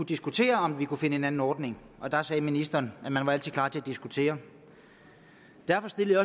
diskutere om vi kunne finde en anden ordning og der sagde ministeren at man altid er klar til diskutere derfor stillede